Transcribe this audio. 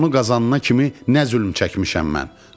Onu qazanana kimi nə zülm çəkmişəm mən.